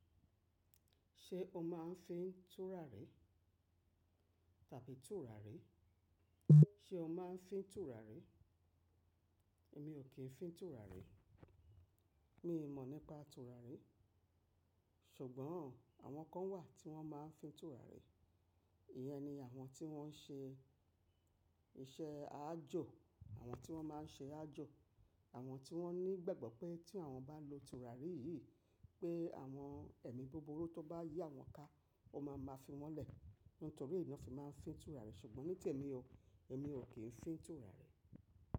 Ṣé o máa ń fín tùràrí tàbí tùràrí? Ṣé o má ń fín tùràrí? Èmi ò kí ń fín tùràrí. Mi mọ̀ nípa tùràrí. Ṣùgbọ́n àwọn kan wà tí wọ́n máa ń fín tùràrí. Íyẹn ni àwọn tí wọ́n ń ṣe iṣẹ́ àjò, àwọn tí wọ́n má ń ṣe àjò, àwọn tí wọ́n ní ìgbàgbọ́ pé tí àwọn bá lo tùràrí yìí pé àwọn ẹ̀mí búburú tó bá yí àwọn ká o máa ma fi wọ́n lẹ̀. Nítorí na fi máa ń fín tùràrí. Ṣùgbọ́n ní tèmi o, èmi ò kí ń fín tùràrí.